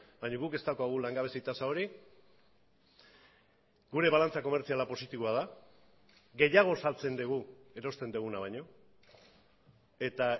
baina guk ez daukagu langabezi tasa hori gure balantza komertziala positiboa da gehiago saltzen dugu erosten duguna baino eta